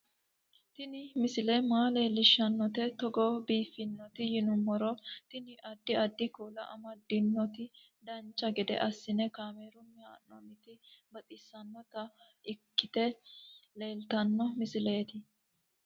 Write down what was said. Tini misile maa leellishshannote togo biiffinoti yinummoro tini. addi addi kuula amadde nooti dancha gede assine kaamerunni haa'noonniti baxissannota ikkite leeltanno misileeti